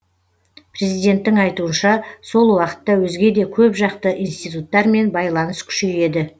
президенттің айтуынша сол уақытта өзге де көпжақты институттармен байланыс күшейеді